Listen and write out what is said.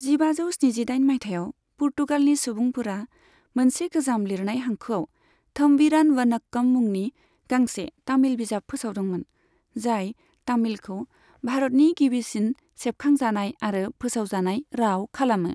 जिबाजौ स्निजिदाइन मायथाइयाव, पुर्तुगालनि सुबुंफोरा मोनसे गोजाम लिरनाय हांखोआव 'थम्बीरान वनक्कम' मुंनि गांसे तामिल बिजाब फोसावदोंमोन, जाय तामिलखौ भारतनि गिबिसिन सेबखांजानाय आरो फोसावजानाय राव खालामो।